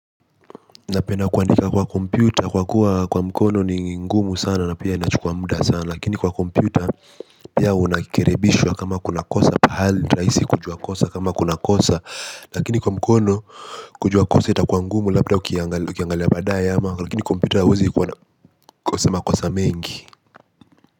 Napenda kuandika kwa kompyuta kwa kuwa kwa mkono ni ngumu sana na pia inachukua muda sana lakini kwa kompyuta pia unarekebishwa kama kuna kosa pahali ni rahisi kujua kama kuna kosa lakini kwa mkono kujua kosa itakuwa ngumu labda ukiangalia baadaye ama lakini kompyuta huwezi kuwa na makosa mengi.